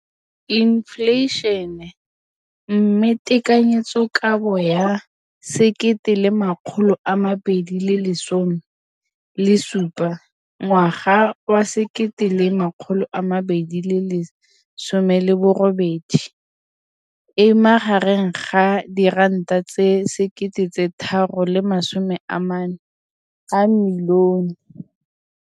Infleišene, mme tekanyetsokabo ya 2017, 18, e magareng ga R6.4 bilione.